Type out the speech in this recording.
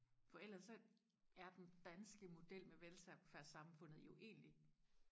for ellers så er den danske model med velfærdssamfundet jo egentlig